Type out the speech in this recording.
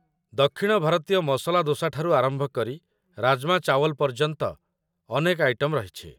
ଦକ୍ଷିଣ ଭାରତୀୟ ମସଲା ଦୋସା ଠାରୁ ଆରମ୍ଭ କରି ରାଜ୍‌ମା ଚାୱଲ୍ ପର୍ଯ୍ୟନ୍ତ ଅନେକ ଆଇଟମ୍ ରହିଛି